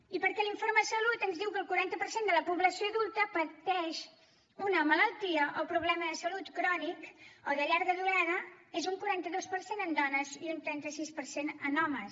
i perquè l’informe de salut ens diu que el quaranta per cent de la població adulta pateix una malaltia o problema de salut crònic o de llarga durada és un quaranta dos per cent en dones i un trenta sis per cent en homes